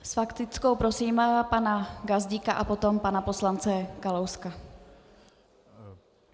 S faktickou prosím pana Gazdíka a potom pana poslance Kalouska.